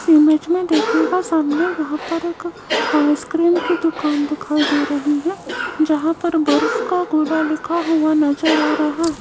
इस इमेज में देखिएगा सामने यहां पर एक आइसक्रीम की दुकान दिखाई दे रही है जहां पर बर्फ का गोला लिखा हुआ नजर आ रहा है।